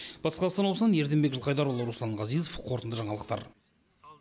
батыс қазақстан облысынан ерденбек жылқайдарұлы руслан ғазизов қорытынды жаңалықтар